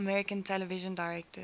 american television directors